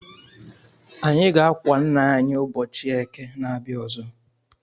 Anyị ga-akwa ńnà anyị ụbọchị eke na-abia ọzọ.